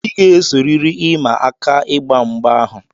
I ga-esorịrị ịma aka ịgba mgba ahụ!